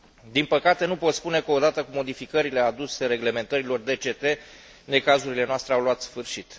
Din păcate, nu pot spune că, odată cu modificările aduse reglementărilor DCT, necazurile noastre au luat sfârșit.